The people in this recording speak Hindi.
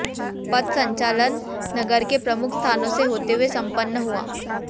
पथ संचलन नगर के प्रमुख स्थानों से होते हुए सम्पन्न हुआ